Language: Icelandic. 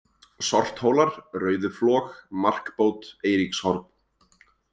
Sorthólar, Rauðuflög, Markbót, Eiríkshorn